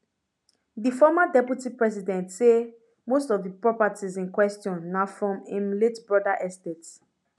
di former deputy president say most most of di properties in question na from im late brother estate